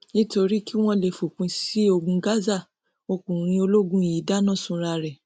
nítorí kí wọn lè fòpin sí ogun gaza ọkùnrin ológun yìí dáná sunra ẹ